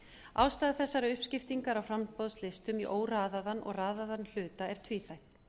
ástæða þessarar uppskiptingar á framboðslistum í óraðaðan og raðaðan hluta er tvíþætt